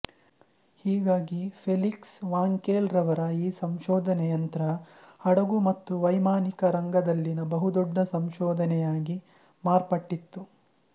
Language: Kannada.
ಹೀಗಾಗಿ ಫೆಲಿಕ್ಸ್ ವಾಂಕೇಲ್ ರವರ ಈ ಸಂಶೋಧನೆ ಯಂತ್ರ ಹಡಗು ಮತ್ತು ವೈಮಾನಿಕ ರಂಗದಲ್ಲಿನ ಬಹುದೊಡ್ಡ ಸಂಶೋಧನೆಯಾಗಿ ಮಾರ್ಪಟ್ಟಿತು